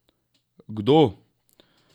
Kdo?